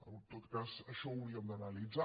en tot cas això ho hauríem d’analitzar